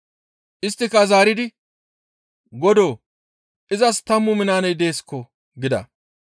«Isttika zaaridi, ‹Godoo! Izas tammu minaaney deesko› gida.